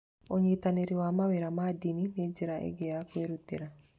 Ũnyitanĩri wa mawĩra ma ndini nĩ njĩra ĩngĩ ya kwĩrutĩra.